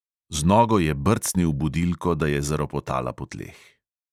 Z nogo je brcnil budilko, da je zaropotala po tleh.